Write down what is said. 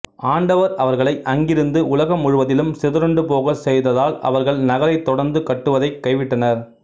ஆண்டவர் அவர்களை அங்கிருந்து உலகம் முழுவதிலும் சிதறுண்டுபோகச் செய்ததால் அவர்கள் நகரைத் தொடர்ந்து கட்டுவதைக் கைவிட்டனர்